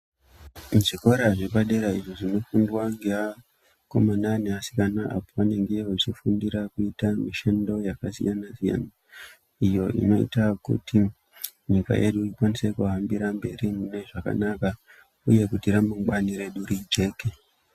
Mu zvikora zvepa dera zvinopindwa nge vakomana ne vasikana apo pa vanenge vechi fundira kuita mishando yaka siyana siyana izvo zviinoita kuti nyika yedu ikwanise kuhambira mberi mu zviro zvakanaka uye kuti ra mangwani redu rijeke.